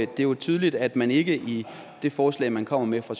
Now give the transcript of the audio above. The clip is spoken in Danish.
det er tydeligt at man ikke i det forslag man kommer med fra